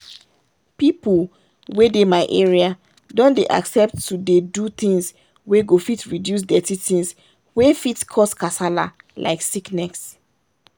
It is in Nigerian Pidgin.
people wey dey my area don dey accept to dey do things wey go fit reduce dirty things wey fit cause kasala like sickness.